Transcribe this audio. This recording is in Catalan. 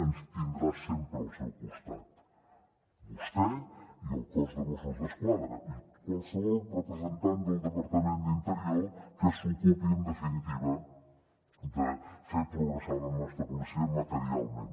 ens tindrà sempre al seu costat vostè i el cos de mossos d’esquadra i qualsevol representant del departament d’interior que s’ocupi en definitiva de fer progressar la nostra policia materialment